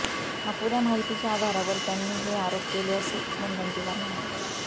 अपुऱया माहितीच्या आधारावर त्यांनी हे आरोप केले असे मुनगंटीवार म्हणाले